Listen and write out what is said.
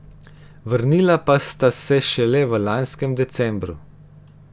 Vrnila pa sta se šele v lanskem decembru.